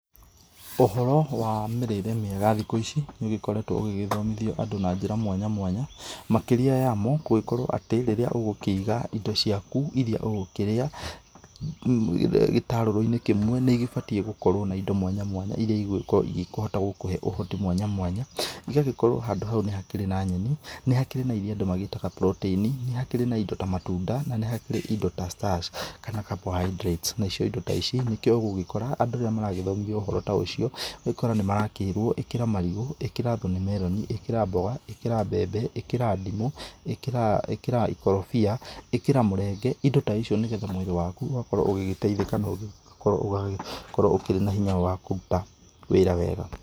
Ũhoro wa mĩrĩre mĩega thikũ ici nĩũgĩkoretwo ũgĩgĩthomithio Andũ na njĩra mwanya mwanya, makĩria yamo, gũgĩkorwo atĩ rĩrĩa ũgũkĩiga indo ciaku iria ũgũkĩrĩa gĩtarũrũ-inĩ kĩmwe, nĩigĩbatie gũkorwo na indo mwanya mwanya iria igũgĩkorwo igĩkĩhota gũkũhe ũhoti mwanya mwanya. Igagĩkorwo handũ hau nĩhakĩrĩ na nyeni, nĩ hakĩri na iria andũ magĩtaga protein, nĩ hakĩrĩ na indo ta matunda, na nĩ hakĩrĩ indo ta starch kana carbohydrates. Na cio indo ta ici nĩkĩo ũgũgĩkora. Andũ rĩrĩa maragĩthomithio ũhoro ta ũcio, ũgũgĩkora nĩmarakĩrwo, ĩkĩra marigũ, ĩkĩra thorn melon, ĩkĩra mboga, ĩkĩra mbembe, ĩkĩra ndimũ, ĩkĩra, ĩkĩra ikorobia, ĩkĩra mũrenge. Indo ta icio nĩcio mwĩrĩ wakũ ũgakorwo ũgĩgĩteithĩka na ũgagĩkorwo ũragĩkorwo ũkĩrĩ na hinya wa kũruta wĩra wega.